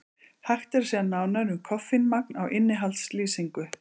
Hægt er sjá nánar um koffínmagn á innihaldslýsingu.